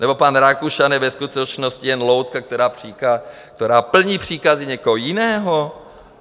Nebo pan Rakušan je ve skutečnosti jen loutka, která plní příkazy někoho jiného?